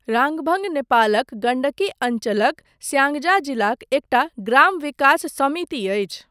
राङभङ नेपालक गण्डकी अञ्चलक स्याङ्जा जिलाक एकटा ग्राम विकास समिति अछि।